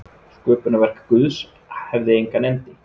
Sköpunarverk Guðs hefði engan endi.